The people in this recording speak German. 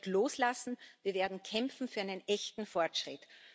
Wir werden nicht loslassen, wir werden kämpfen für einen echten Fortschritt.